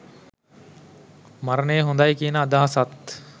මරණය හොඳයි කියන අදහසත්.